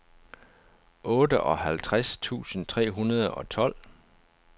otteoghalvtreds tusind tre hundrede og tolv